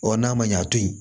Ɔ n'a ma ɲɛ a to yen